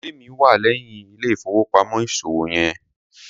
Ilé mi wà léyìn ilé ìfowópamọ́ ìṣòwò yen.